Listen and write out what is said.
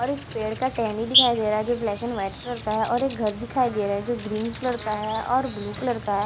और एक पेड़ का टहनी दिखाई दे रहा है ब्लैक एंड वाइट कलर का है और एक घर दिखाई दे रहा है जो ग्रीन कलर का है और ब्लू कलर का है।